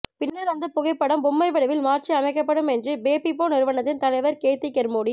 பின்னர் அந்த புகைப்படம் பொம்மை வடிவில் மாற்றி அமைக்கப்படும் என்று பேபிபோ நிறுவனத்தின் தலைவர் கேத்தி கெர்மொடி